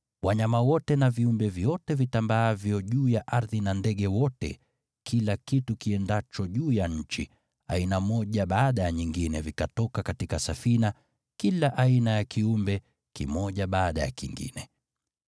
Wanyama wote na viumbe vyote vitambaavyo juu ya ardhi na ndege wote, kila kitu kiendacho juu ya nchi, aina moja baada ya nyingine vikatoka katika safina, kila aina ya kiumbe, kimoja baada ya kingine.